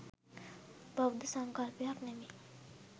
බෞද්ධ සංකල්පයක් නෙමෙයි.